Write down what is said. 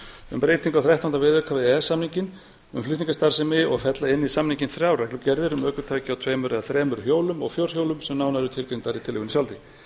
um breytingu á þrettánda viðauka við e e s samninginn um flutningastarfsemi og fella inn í samninginn þrjár reglugerðir um ökutæki á tveimur eða þremur hjólum og fjórhjólum sem nánar eru tilgreindar í reglugerðinni sjálfri